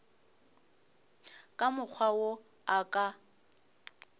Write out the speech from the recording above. ka mokgwa wo a ka